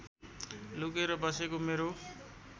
लुकेर बसेको मेरो